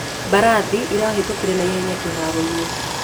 Mbarathĩ ĩrahĩtũkĩre naĩhenya kĩharoĩnĩ